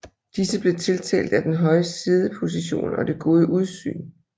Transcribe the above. Disse blev tiltalt af den høje siddeposition og det gode udsyn